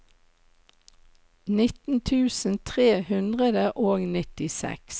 nitten tusen tre hundre og nittiseks